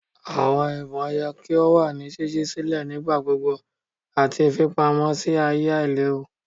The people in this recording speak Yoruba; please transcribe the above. Awọn ibon yẹ ki o wa ni ṣiṣi silẹ nigbagbogbo ati fipamọ si aaye ailewu.